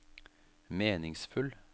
meningsfull